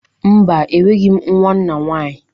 Mba, enweghị m nwa nna nwanyị.